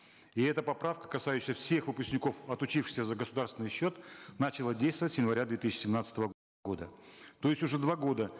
и эта поправка касающаяся всех выпускников отучившихся за государственный счет начала действовать с января две тысячи семнадцатого года то есть уже два года